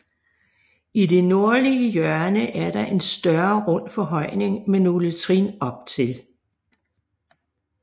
I det nordlige hjørne er der en større rund forhøjning med nogle trin op til